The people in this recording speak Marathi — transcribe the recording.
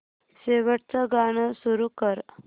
शेवटचं गाणं सुरू कर